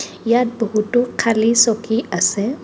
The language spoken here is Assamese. ইয়াত বহুতো খালী চকী আছে.